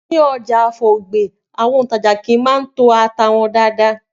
Ni ọjà Afor Ogbe, àwọn òntajà kii maa ń to ata wọn dáadáa